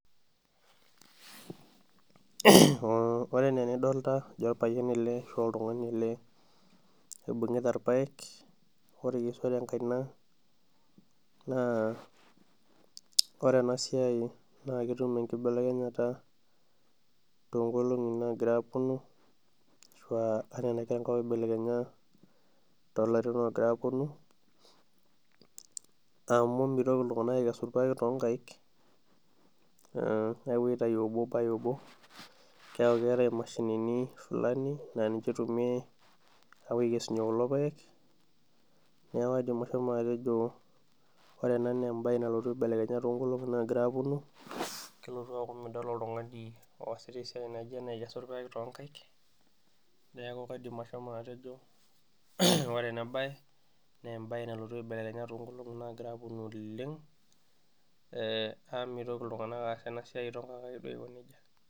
Ore enaa enidolita oltungani ele ashu orpayian ele oibungita irpaek tenkaina ,ore ena siai naa ketum enkibelekenyata toonkolongi naaponu ashua enaiko enkop pee eibelekenya toolarin ooponu ,amu mintoki iltunganak aikesa irpaek toonkaek ,apuo aitayu obo obo keeku keeta emashinini fulani naa niche eitumiyia apuo aikesunye kulo paek, neeku kaidim atejo ore ena naa embae nalotu aibelekenya toonkolongi naagira aponu ,keeku midol oltungani oosita esiai naijo ena toonkaek aikesu irpaek, naaku kaidim asho atejo ore ena bae naa embae nalotu aibelekenya toonkolongi naaponu oleng amu mitoki iltunganak aasa ena siai toonkaek aiko najia.